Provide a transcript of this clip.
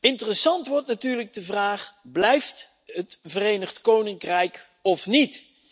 Interessant wordt natuurlijk de vraag Blijft het Verenigd Koninkrijk of niet?.